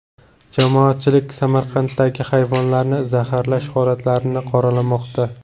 Jamoatchilik Samarqanddagi hayvonlarni zaharlash holatlarini qoralamoqda.